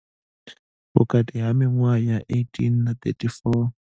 Vhukati ha miṅwaha ya 18 na 34.